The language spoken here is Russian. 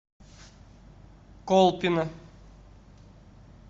колпино